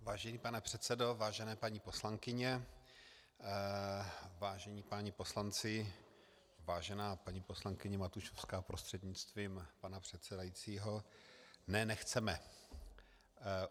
Vážený pane předsedo, vážené paní poslankyně, vážení páni poslanci, vážená paní poslankyně Matušovská prostřednictvím pana předsedajícího, ne, nechceme.